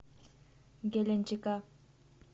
геленджика